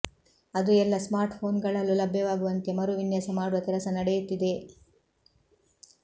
ಅದು ಎಲ್ಲಾ ಸ್ಮಾರ್ಟ್ಫೋನ್ಗಳಲ್ಲೂ ಲಭ್ಯವಾಗುವಂತೆ ಮರು ವಿನ್ಯಾಸ ಮಾಡುವ ಕೆಲಸ ನಡೆಯುತ್ತಿದೆ